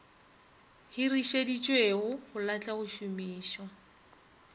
hirišeditšwego go lahlwa go šomišwa